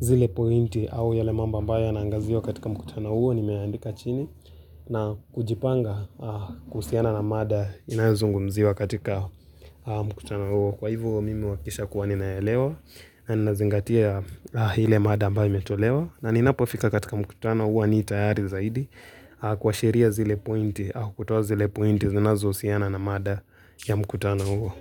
zile pointi au yale mambo ambayo yanaangaziwa katika mkutano huo, nimeandika chini, na kujipanga kuhusiana na mada inayozungumziwa katika mkutano huo. Kwa hivyo mimi uhakikisha kuwa ninaelewa na ninazingatia ile mada ambayo imetolewa na ninapofika katika mkutano huwa ni tayari zaidi kuashiria zile pointi au kutoa zile pointi zinazohusiana na mada ya mkutano huo.